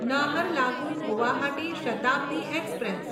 Naharlagun Guwahati Shatabdi express